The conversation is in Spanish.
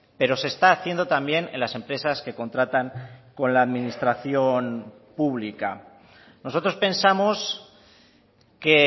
pero se está haciendo también en las empresas que contratan con la administración pública nosotros pensamos que